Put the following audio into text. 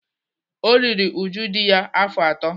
O riri uju dị ya afọ atọ.